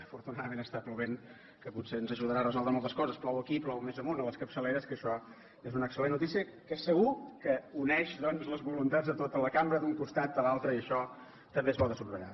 afortunadament plou que potser ens ajudarà a resoldre moltes coses plou aquí i plou més amunt a les capçaleres que això és una excel·lent notícia que segur que uneix doncs les voluntats de tota la cambra d’un costat a l’altre i això també és bo de subratllar